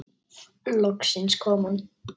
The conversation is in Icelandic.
Loksins kom hún.